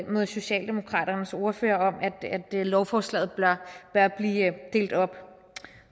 med socialdemokratiets ordfører i at lovforslaget bør blive delt op